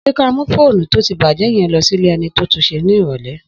Sẹ ka mu fònú tò ti bàjẹ yìí lọ sílè èni to tùnsẹ ni ìrọlẹ́